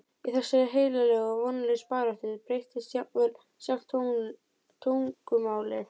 Í þessari heilögu og vonlausu baráttu breytist jafnvel sjálft tungumálið.